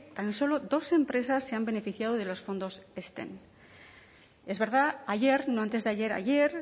tan solo dos empresas se han beneficiado de los fondos ezten es verdad ayer no antes de ayer ayer